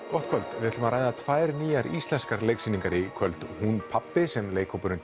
gott kvöld við ætlum að ræða tvær nýjar íslenskar leiksýningar í kvöld hún pabbi sem leikhópurinn